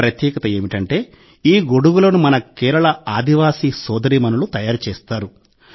ప్రత్యేకత ఏమిటంటే ఈ గొడుగులను మన కేరళ ఆదివాసీ సోదరీమణులు తయారు చేస్తారు